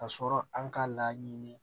Ka sɔrɔ an k'a laɲini